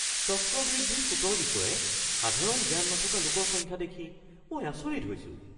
চক্ৰবৃদ্ধি সুতৰ বিষয়ে সাধাৰণ জ্ঞান নথকা লোকৰ সংখ্যা দেখি মই আচৰিত হৈছো।